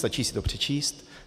Stačí si to přečíst.